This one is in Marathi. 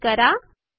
स्विच करा